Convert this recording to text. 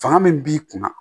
Fanga min b'i kunna